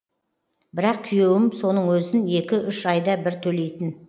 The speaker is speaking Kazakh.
бірақ күйеуім соның өзін екі үш айда бір төлейтін